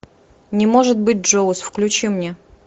не может быть джоуз включи мне